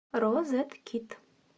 розеткед